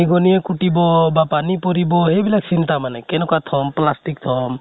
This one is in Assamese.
নিগনি য়ে কুটিব বা পানী পৰিব, এইবিলাক চিন্তা মানে । কেনেকুৱা থম, plastic থম